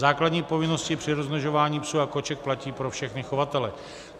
Základní povinnosti při rozmnožování psů a koček platí pro všechny chovatele.